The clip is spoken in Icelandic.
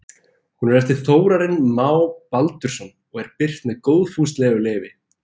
Hún er eftir Þórarin Má Baldursson og er birt með góðfúslegu leyfi.